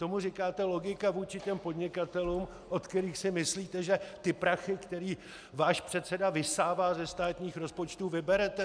Tomu říkáte logika vůči těm podnikatelům, od kterých si myslíte, že ty prachy, které váš předseda vysává ze státních rozpočtů, vyberete?